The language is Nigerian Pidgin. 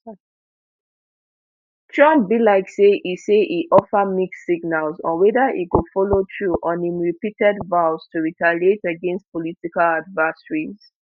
trump be like say e say e offer mixed signals on whether e go follow through on im repeated vows to retaliate against political adversaries